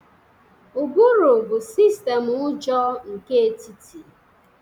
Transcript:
Ụbụrụ bụ sistemu ụjọ nke etiti